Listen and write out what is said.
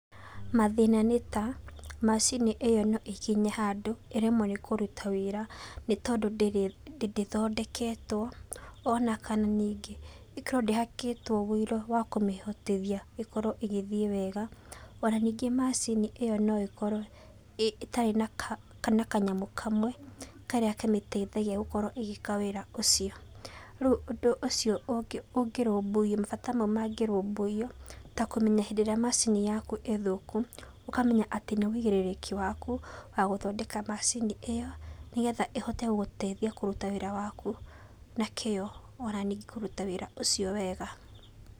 Mathĩna nĩ ta macini ĩyo no ĩkinye handũ ĩremwo nĩkũruta wĩra, nĩ tondũ ndĩthondeketwo ona kana ningĩ ĩkorwo ndĩhakĩtwo ũiro wa kũmĩhotithia ĩkorwo ĩgĩthie wega, ona ningĩ macini ĩyo no ĩkorwo ĩtarĩ na kanyamũ kamwe karĩa kamĩteithagia gũkorwo ĩgĩka wĩra ũcio, rĩu mabata mau mangĩrũmbũiyo ta kũmenya rĩrĩa macini yaku ĩ thũku ũkamenya nĩ wũigĩrĩrĩki waku wa gũthondeka macini ĩyo nĩgetha ĩhote gũgũteithia kũruta wĩra waku na kĩo ona ningĩ kũruta wĩra ũcio wega.